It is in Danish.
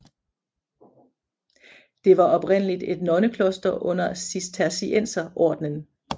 Det var oprindeligt et nonnekloster under Cistercienserordenen